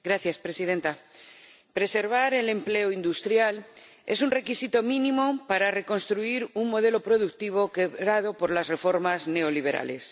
Señora Presidenta, preservar el empleo industrial es un requisito mínimo para reconstruir un modelo productivo quebrado por las reformas neoliberales.